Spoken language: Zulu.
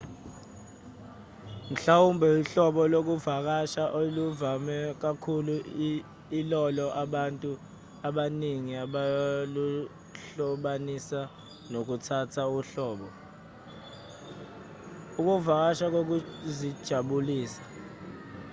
mhlawumbe uhlobo lokuvakasha oluvame kakhulu ilolo abantu abaningi abaluhlobanisa nokuthatha uhambo ukuvakasha kokuzijabulisa